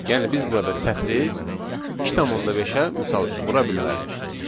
Yəni biz burada sətri 2,5-ə misal üçün vura bilmərik.